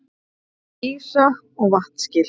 Ísa- og vatnaskil.